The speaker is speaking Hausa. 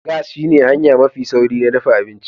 Gas shine hanya mafi sauri na dafa abinci